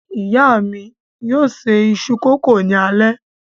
Ìyá mi yóò ṣe iṣu-kókò ní alẹ́